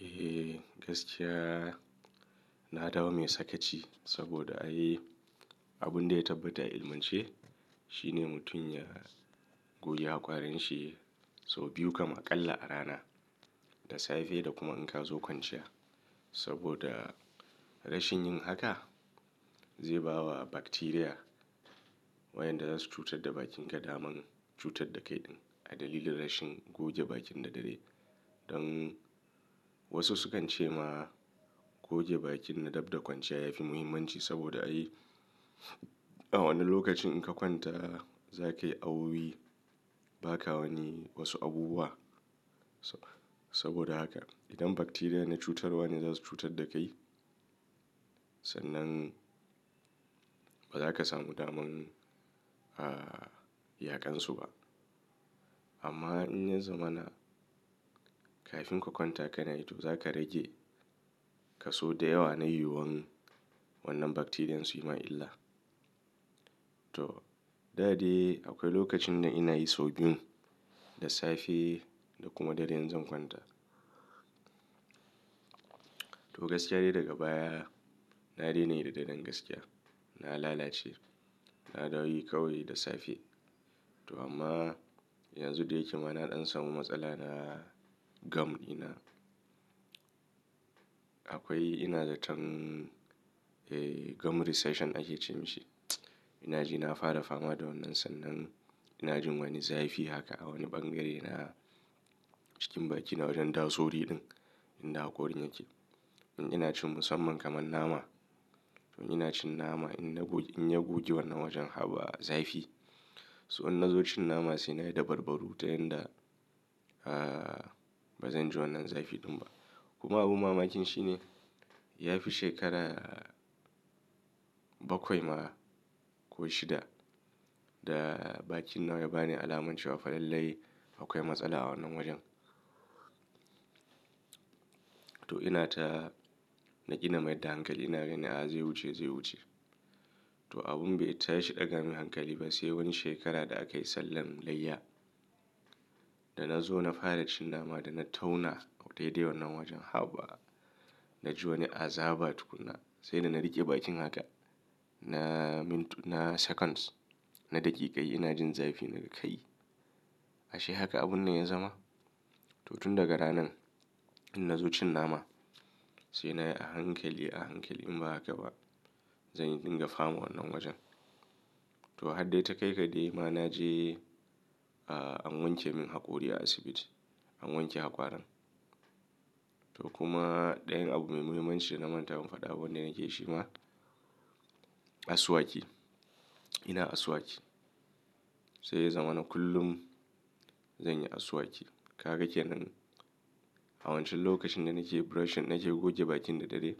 Eh gaskiya na dawo mai sakaci saboda ai abun da ya tabbata a ilmance shine mutum ya goge hakwarin shi sau biyu kam aƙalla a rana, da safe da kuma in ka zo kwanciya. Saboda rashin yin haka zai bawa bakteriya wayanda zasu cutar da bakinka daman cutar da kai ɗin. A dalilin rashin goge bakin da dare. Don wasu sukan ce ma goge bakin na dab da kwanciya yafi muhimmanci saboda ai a wani lokacin in ka kwanta za ka yi awoyi ba ka wani wasu abubuwa. Saboda haka idan bakteriya na cutarwa ne zasu cutar da kai, sannan ba za ka samu daman, ah, yaƙansu ba. Amma in ya zama na kafin ka kwanta ka na yi to za ka rage kaso da yawa na yiwuwan wannan bakteriyan su yi ma illa. To, da dai akwai lokacin da ina yi sau biyun, da safe da kuma dare in zan kwanta. To gaskiya dai daga baya na daina yi da daren gaskiya. Na lalace, na dawo yi kawai da safe. To amma yanzu da yake ma na ɗan samu matsala da gum ina. Akwai ina zaton, eh gum recession ake ce mashi. Ina ji na fara fama da wannan sannan ina jin wani zafi haka a wani bangare na cikin baki na wajen dasori ɗin inda hakorin yake. In ina cin musamman kamar nama, in ina cin nama in ya gogi wannan wajen haba zafi. So in na zo cin nama sai na yi da barbaru ta yanda, ah, ba zan ji wannan zafi ɗin ba. Kuma abun mamakin shine yafi shekara bakwai ma ko shida da bakina ya bani alamunci wa fa lallai akwai matsala a wannan wajen. To ina ta, na ƙi na mai da hankali. Na gani a zai wuce, zai wuce. To abin bai tayi shi ɗaga min hankali ba sai wani shekara da aka yi sallan layya. Da na zo na fara cin nama da na tauna a dai dai wannan wajen haba. Na ji wani azaba tukuna sai da na riƙe bakin haka na mintu, na seconds, na daƙiƙai ina jin zafi nan kai. Ashe haka abun nan ya zama. To tun daga ranan in na zo cin nama sai na yi a hankali, a hankali in ba haka ba zan yi dinga fama wannan wajen. To har dai ta kai ka dai ma na je, ah, an wanke min hakori a asibiti, an wanke hakwarin. To kuma ɗayan abu mai muhimmanci da na manta mun faɗa abin da nake shi ma, asuwaki. Ina asuwaki. Sai ya zama na kullum zanyi asuwaki. Ka ga kenan? A wancan lokacin da nake brushing, nake goge bakin da dare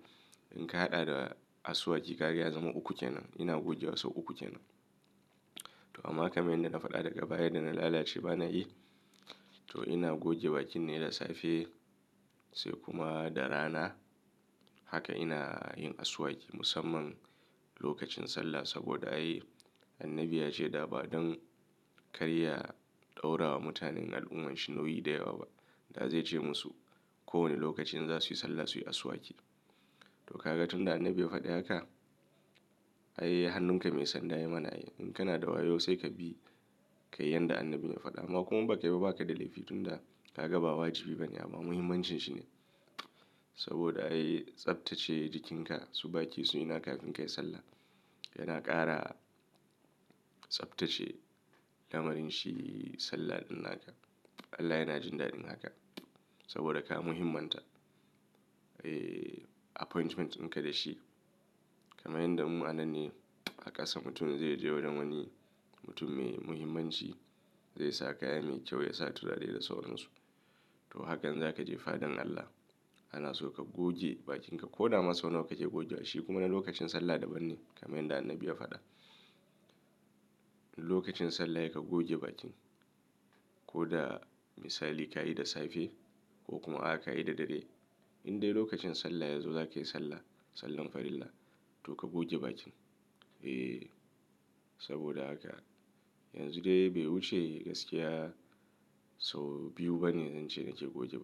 in ka haɗa da asuwaki ka ga ya zama uku kenan. Ina goge wasu uku kenan. To amma kamar yadda na faɗa daga baya da na lalace ba na yi. To ina goge bakin ne da safe sai kuma da rana. Haka ina yin asuwaki musamman lokacin sallah saboda ai annabi ya ce da ba don karya ɗaura wa mutanen al'ummarsa nauyi da yawa ba. Da zai ce musu kowane lokacin za su yi sallah su yi asuwaki. To ka ga tun da annabi ya faɗi haka? Ai hannunka mai sanda ya yi ma na ai. In kana da wayo sai ka bi kai yanda annabi ya faɗa. Amma kuma in ba kai ba, ba ka da laifi tun da ka ga ba wajibi ba ne. Amma muhimmancin shi ne saboda ai tsabtacce jikinka su baki su ina kafin kai sallah yana ƙara tsabtacce lamarin shi sallah ɗin naka. Allah yana jin daɗin haka saboda ka muhimanta, eh appointment ɗin ka da shi. Kamar yadda mu ananne a ƙasa mutum zai je wajen wani mutum mai muhimmanci zai sa kaya mai kyau ya sa turare da sauransu. To hakan za ka je fadan Allah. Ana so ka goge bakin ka, koda ma sau nawa kake goge wa shi kuma na lokacin sallah daban ne kamar yadda annabi ya faɗa. Lokacin sallah yai ka goge bakin. Ko da misali ka yi da safe ko kuma a ka yi da dare. In dai lokacin sallah ya zo za ka yi sallah, sallan farilla to ka goge bakin. Eh saboda haka yanzu dai bai wuce gaskiya sau biyu ba ne zan ce na ke goge ba.